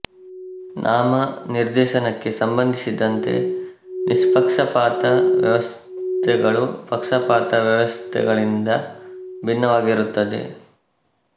ನಾಮ ನಿರ್ದೇಶನಕ್ಕೆ ಸಂಬಂಧಿಸಿದ್ದಂತೆ ನಿಷ್ಪಕ್ಷಪಾತ ವ್ಯವಸ್ಥೆಗಳು ಪಕ್ಷಪಾತ ವ್ಯವಸ್ಥೆಗಳಿಂದ ಭಿನ್ನವಾಗಿರುತ್ತದೆ